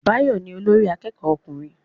Báyọ̀ ni olórí akẹ́kọ̀ọ́ ọkùnrin